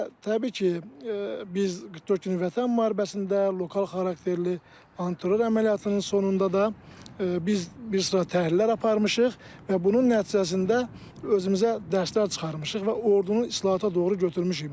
Və təbii ki, biz 44 günlük Vətən müharibəsində, lokal xarakterli antiterror əməliyyatının sonunda da biz bir sıra təhlillər aparmışıq və bunun nəticəsində özümüzə dərslər çıxarmışıq və ordunun islahata doğru götürmüşük.